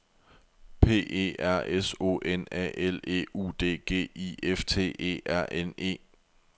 P E R S O N A L E U D G I F T E R N E